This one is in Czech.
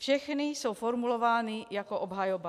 Všechny jsou formulovány jako obhajoba.